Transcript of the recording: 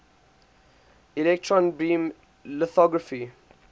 electron beam lithography